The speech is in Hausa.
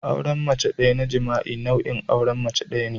auren mace daya na jima'i nau'in auren mace daya ne